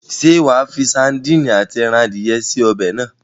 Ṣé wàá fi sadíìnì àti ẹran adìye sí ọbẹ̀ náà?